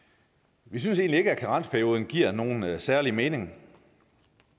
vi synes egentlig ikke at karensperioden giver nogen særlig mening